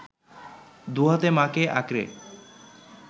দু’হাতে মা’কে আঁকড়ে